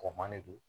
Kɔman ne do